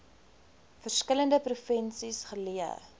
verskillende provinsies geleë